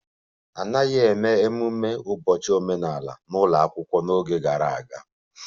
A naghị eme ememe ụbọchị omenala n'ụlọ akwụkwọ n'oge gara aga